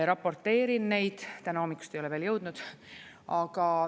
Raporteerin neid, täna hommikust ei ole veel jõudnud.